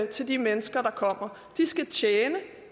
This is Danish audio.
til de mennesker der kommer de skal tjene